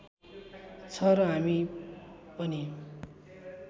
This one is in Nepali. छ र हामी पनि